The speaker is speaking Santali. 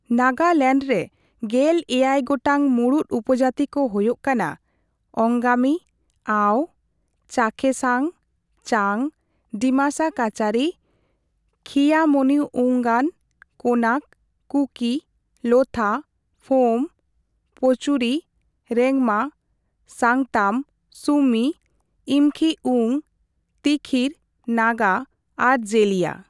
ᱱᱟᱜᱟᱞᱮᱱᱰ ᱨᱮ ᱜᱮᱞᱮᱭᱟᱭᱜᱚᱴᱟᱝ ᱢᱩᱲᱩᱫ ᱩᱯᱩᱡᱟᱹᱛᱤ ᱠᱚ ᱦᱳᱭᱳᱜ ᱠᱟᱱᱟ ᱚᱝᱜᱟᱢᱤ, ᱟᱣ, ᱪᱟᱠᱷᱮᱥᱟᱝ, ᱪᱟᱝ, ᱰᱤᱢᱟᱥᱟ ᱠᱟᱪᱟᱨᱤ, ᱠᱷᱤᱭᱟᱢᱚᱱᱤᱣᱩᱝᱜᱟᱱ, ᱠᱳᱱᱟᱠ, ᱠᱩᱠᱤ, ᱞᱳᱛᱷᱟ, ᱯᱷᱳᱢ, ᱯᱳᱪᱩᱨᱤ, ᱨᱮᱝᱢᱟ, ᱥᱟᱝᱛᱟᱢ, ᱥᱩᱢᱤ, ᱤᱢᱠᱷᱤ ᱩᱝ, ᱛᱤᱠᱷᱤᱨ, ᱱᱟᱜᱟ, ᱟᱨ ᱡᱮᱞᱤᱭᱟᱝ ᱾